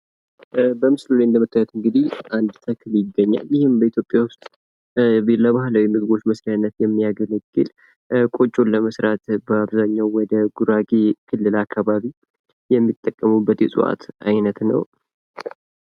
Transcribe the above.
በምስሉ ላይ እንደምታዩት እንግዲህ አንድ ተክል ይገኛል ይህም በኢትዮጵያ ዉስጥ ለባህላዊ ምግቦች መስርያነት የሚያገለግል ፤ ቆጮን ለመስራት በአብዛኛው ወደ ጉራጌ ክልል አካባቢ የሚጠቀሙበት የእፅዋት አይነት ነው።